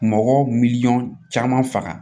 Mɔgɔw miliyɔn caman faga